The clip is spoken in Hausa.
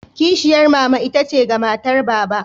Kishiyar mama itace ga matar Baba.